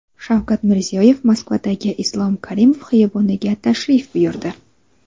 Shavkat Mirziyoyev Moskvadagi Islom Karimov xiyoboniga tashrif buyurdi .